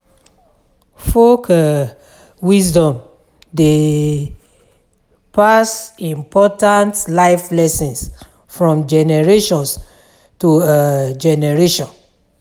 Folk um wisdom dey pass important life lessons from generation to um generation.